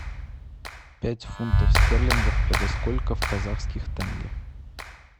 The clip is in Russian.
пять фунтов стерлингов это сколько в казахских тенге